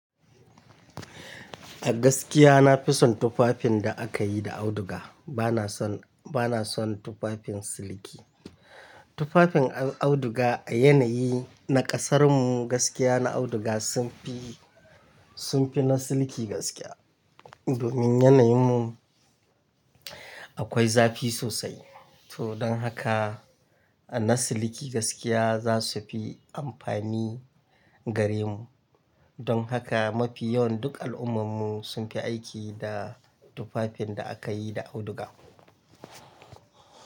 A gaskiya na fi son tufafin da aka yi da auduga bana son. Bana son, bana son tufafin siliki. Tufafin auduga a yanayi na ƙasar mu gaskiya na auduga sun fi, sun fi na siliki gaskiya. Domin yanayi mu akwai zafi sosai. To don haka na siliki gaskiya za su fi amfani gare mu. Don haka mafi yawan duk al'ummar mu sun fi aiki da tufafin da aka yi da auduga.